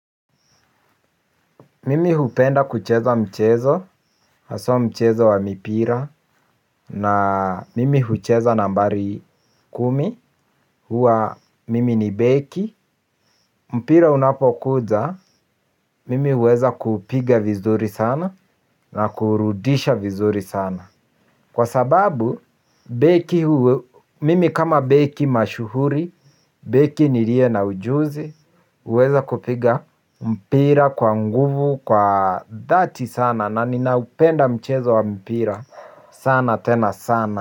Mimi hupenda kucheza mchezo, hasa mchezo wa mipira, na mimi hucheza nambari kumi, huwa mimi ni beki. Mpira unapokuja, mimi huweza kuupiga vizuri sana, na kuurudisha vizuri sana. Kwa sababu, mimi kama beki mashuhuri, beki nilie na ujuzi, huweza kupiga mpira kwa nguvu, kwa dhati sana, na ninaupenda mchezo wa mpira sana tena sana.